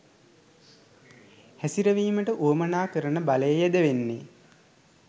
හැසිරවීමට වුවමනා කරන බලය යෙදවෙන්නෙ.